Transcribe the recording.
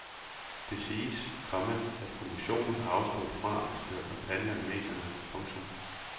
Det siges, komma at kommissionen har afstået fra at føre kampagner i medierne. punktum